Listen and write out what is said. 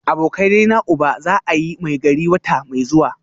Abokanaina uba za a yi Maigari wata mai zuwa